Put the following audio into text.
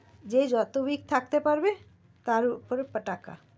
যে যত week থাকতে পারবে তার উপরে টাকা